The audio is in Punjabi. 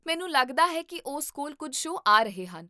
ਮੈਨੂੰ ਲੱਗਦਾ ਹੈ ਕੀ ਉਸ ਕੋਲ ਕੁੱਝ ਸ਼ੋਅ ਆ ਰਹੇ ਹਨ